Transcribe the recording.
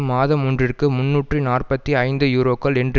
மாதம் ஒன்றிற்கு முன்னூற்று நாற்பத்தி ஐந்து யூரோக்கள் என்று